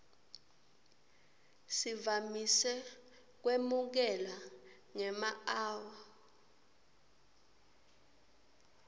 sivamise kwemukelwa ngemaawa